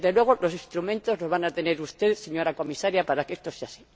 Desde luego los instrumentos los va a tener usted, señora Comisaria, para que esto sea así.